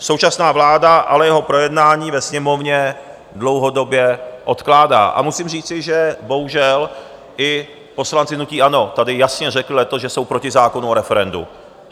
Současná vláda ale jeho projednání ve Sněmovně dlouhodobě odkládá a musím říci, že bohužel i poslanci hnutí ANO tady jasně řekli letos, že jsou proti zákonu o referendu.